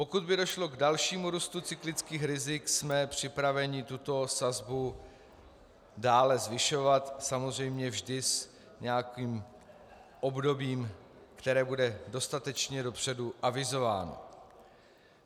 Pokud by došlo k dalšímu růstu cyklických rizik, jsme připraveni tuto sazbu dále zvyšovat, samozřejmě vždy s nějakým obdobím, které bude dostatečně dopředu avizováno.